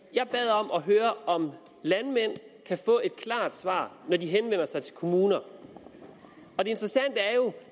jeg bad om at høre om landmænd kan få et klart svar når de henvender sig til kommuner og det interessante